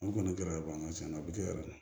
An kɔni bɔra an ka cɛn na u bɛ kɛ yɛrɛ de